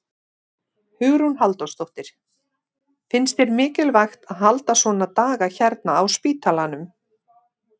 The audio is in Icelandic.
Hugrún Halldórsdóttir: Finnst þér mikilvægt að halda svona daga hérna á spítalanum?